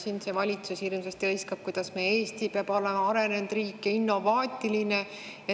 Siin see valitsus hirmsasti hõiskab, et meie Eesti peab olema arenenud riik ja innovaatiline.